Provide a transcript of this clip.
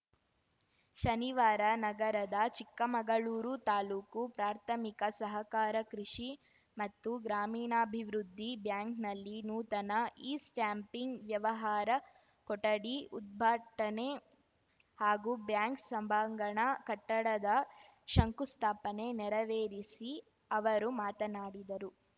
ಶನಿವಾರ ನಗರದ ಚಿಕ್ಕಮಗಳೂರು ತಾಲೂಕು ಪ್ರಾಥಮಿಕ ಸಹಕಾರ ಕೃಷಿ ಮತ್ತು ಗ್ರಾಮೀಣಾಭಿವೃದ್ಧಿ ಬ್ಯಾಂಕ್‌ನಲ್ಲಿ ನೂತನ ಇಸ್ಟ್ಯಾಂಪಿಂಗ್‌ ವ್ಯವಹಾರ ಕೊಠಡಿ ಉದ್ಭಾಟನೆ ಹಾಗೂ ಬ್ಯಾಂಕ್‌ ಸಭಾಂಗಣ ಕಟ್ಟಡದ ಶಂಕುಸ್ಥಾಪನೆ ನೆರವೇರಿಸಿ ಅವರು ಮಾತನಾಡಿದರು